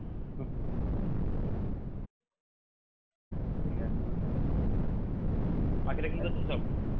বাকিরা কী করছে সব